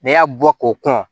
N'i y'a bɔ k'o kɔn